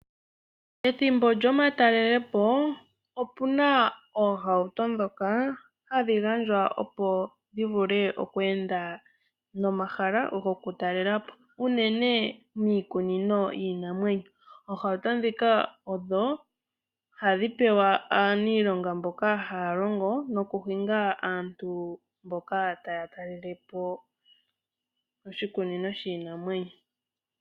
Ethimbo lyomatalelepo, opena oohauto dhoka hadhi gandjwa opo dhi vule oku enda nomahala goku talelapo, unene miikunino yiinamwenyo. Oohauto dhika, odho hadhi pewa aanilonga mboka haya longo noku hinga aantu mboka taya talelepo oshikunino shiinamwenyo.